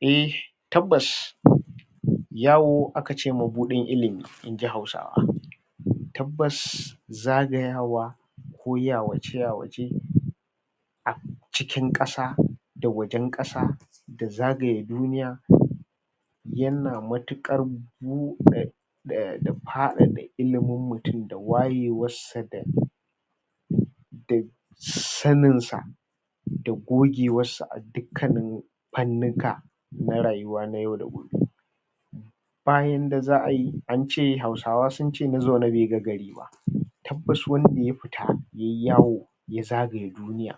E, tabbas, yawo aka ce mabuɗin ilimi, in ji Hausawa. Tabbas, zagayawa ko yawace-yawace a cikin ƙasa da wajen ƙasa da zagaye duniya yana matuƙar buɗe da faɗaɗa ilimin mutum da wayewarsa da da saninsa da gogewarsa a dukkannin fannuka na rayuwa na yau da gobe. Ba yanda za an ce, Hausawa sun ce na zaune bai ga gari ba. Tabbas wanda ya fita yai yawo ya zagaya duniya,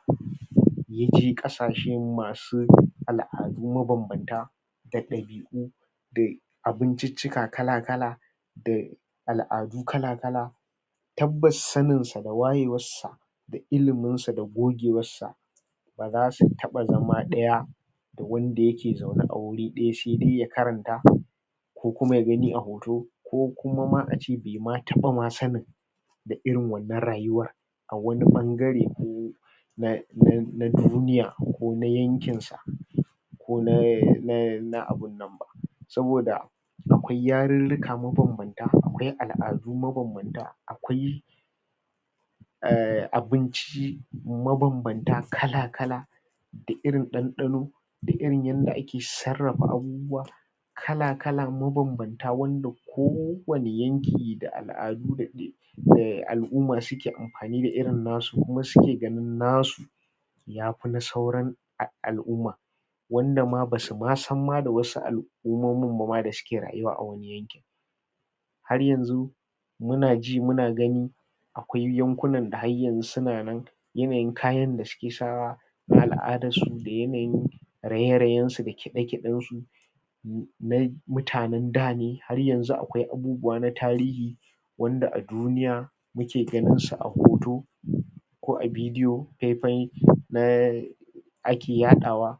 ya je ƙasashen masu al'adu mabambanta da ɗabi'u da abinciccika kala-kala da al'adu kala-kala. Tabbas saninsa da wayewarsa da iliminsa da gogewarsa ba za su taɓa zama ɗaya da wanda yake zaune a wuri ɗaya, sai dai ya karanta, ko kuma ya gani a hoto, ko kuma ma a ce bai ma taɓa ma sanin da irin wannan rayuwar a wani ɓangare na na duniya ko na yankinsa, ko na abin nan ba. Saboda, akwai yarurruka mabambanta; akwai al'adu mabambanta; akwai um abinci mabambanta kala-kala da irin ɗanɗano da irin yanda ake sarrafa abubuwa kala-kala, mabambanta, wanda kowane yanki da al'adu da ke um al'uma suke amfani da irin nasu kuma suke ganin nasu ya fi na sauran al'uma wanda ma ba su ma san ma da wasu al'umomin ba ma da suke rayuwa a wurin. Har yanzu, muna ji muna gani akwai yankunan da hayyanzu suna nan; yanayin kayan da suke sawa na al'adansu da yanayin raye-rayensu da kiɗe-kiɗensu na mutanen da ne. Har yanzu akwai abubuwa na tarihi wanda a duniya muke ganinsu a hoto ko a bidiyo faifayi na, ake yaɗawa.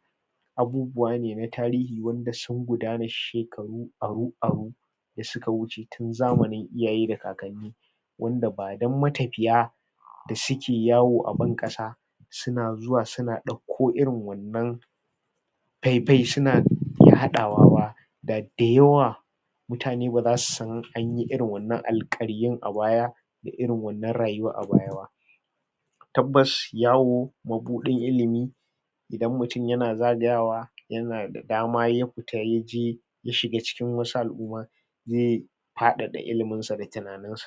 Abubuwa ne na tarihi wanda sun gudana shekaru aru-aru da suka wuce tun zamanin iyaye da kakanni wanda ba don matafiya da suke yawo a ban ƙasa suna zuwa suna ɗauko irin wannan faifayi suna haɗawa ba, da da yawa mutane ba za su san an yi irin wannan alƙaryun a baya da irin wannan rayuwar a baya ba. Tabbas, yawo mabuɗin ilimi. Idan mutum yana zagayawa yana da dama ya fita ya je ya shiga cikin wasu al'uma zai faɗaɗa iliminsa da tunaninsa.